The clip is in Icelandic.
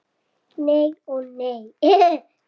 Nei ó nei.